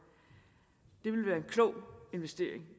det ville være en klog investering